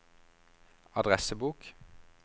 adressebok